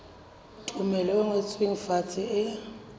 tumello e ngotsweng fatshe e